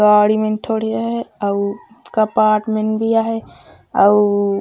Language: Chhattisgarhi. गाड़ी मन ठोडिया हैं अउ कपाट मन भीया हैं अऊ--